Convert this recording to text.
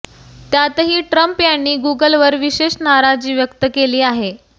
त्यातही ट्रम्प यांनी गुगलवर विशेष नाराजी व्यक्त केली आहे